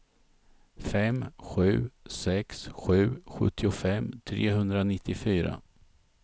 fem sju sex sju sjuttiofem trehundranittiofyra